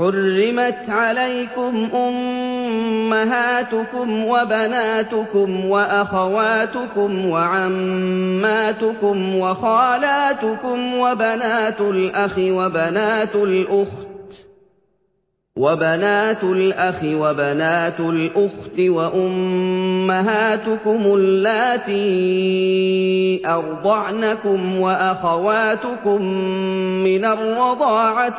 حُرِّمَتْ عَلَيْكُمْ أُمَّهَاتُكُمْ وَبَنَاتُكُمْ وَأَخَوَاتُكُمْ وَعَمَّاتُكُمْ وَخَالَاتُكُمْ وَبَنَاتُ الْأَخِ وَبَنَاتُ الْأُخْتِ وَأُمَّهَاتُكُمُ اللَّاتِي أَرْضَعْنَكُمْ وَأَخَوَاتُكُم مِّنَ الرَّضَاعَةِ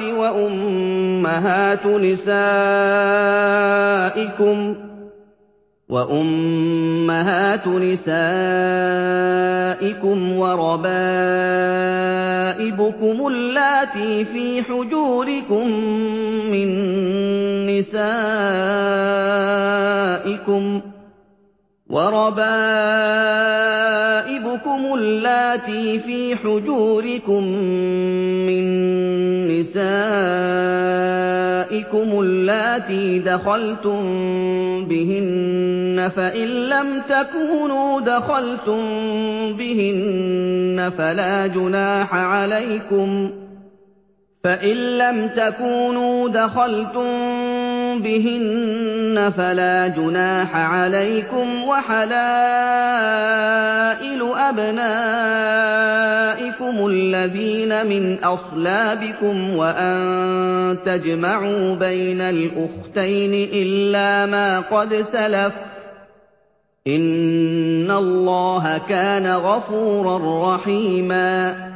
وَأُمَّهَاتُ نِسَائِكُمْ وَرَبَائِبُكُمُ اللَّاتِي فِي حُجُورِكُم مِّن نِّسَائِكُمُ اللَّاتِي دَخَلْتُم بِهِنَّ فَإِن لَّمْ تَكُونُوا دَخَلْتُم بِهِنَّ فَلَا جُنَاحَ عَلَيْكُمْ وَحَلَائِلُ أَبْنَائِكُمُ الَّذِينَ مِنْ أَصْلَابِكُمْ وَأَن تَجْمَعُوا بَيْنَ الْأُخْتَيْنِ إِلَّا مَا قَدْ سَلَفَ ۗ إِنَّ اللَّهَ كَانَ غَفُورًا رَّحِيمًا